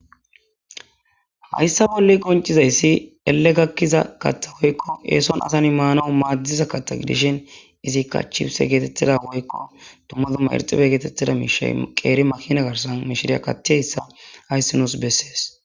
Haysan bola qonc'isizaysi ele gakiza katha woyko eson asa na'i manawu madiza katha gidishin izika chifise getetiza woyko duma duma iridhibe getetida mishay qeri makina garsan mishiriya kathiyayisa haysi nus beses.